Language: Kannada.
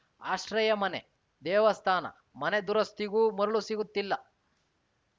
ಆಶ್ರಯ ಮನೆ ದೇವಸ್ಥಾನ ಮನೆ ದುರಸ್ತಿಗೂ ಮರಳು ಸಿಗುತ್ತಿಲ್ಲ